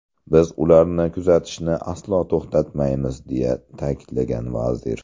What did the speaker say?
Biz ularni kuzatishni aslo to‘xtatmaymiz”, deya ta’kidlagan vazir.